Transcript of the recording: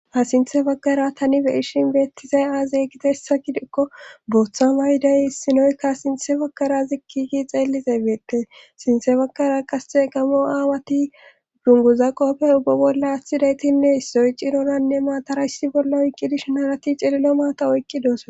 asinthe baggara tani be ishin beettizay aazey gide hessa gidikko booththa mayday sinoykka asinthe baggara zikkigi xeellize beette sinthe baggara qasxe gamo aawati dunguza qoppe ubba bolla aththidaytinne issoy ciroranne maatara issi bolla oyqqidish naarati cililo maata oyqqidoos